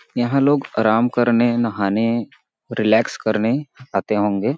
यहाँ लोग आराम करने नहाने रिलैक्स करने आते होंगे --